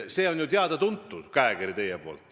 See on ju teie teada-tuntud käekiri.